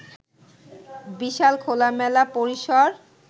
বিশাল খোলামেলা পরিসর